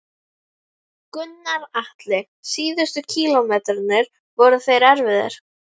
Gunnar Atli: Síðustu kílómetrarnir, voru þeir erfiðir?